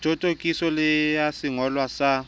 thothokiso le ya sengolwa sa